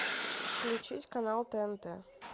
включить канал тнт